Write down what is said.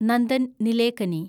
Nandan Nilekani